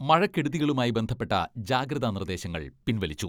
മഴക്കെടുതികളുമായി ബന്ധപ്പെട്ട ജാഗ്രതാ നിർദ്ദേശങ്ങൾ പിൻവലിച്ചു.